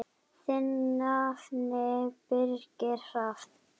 Þinn nafni, Birgir Hrafn.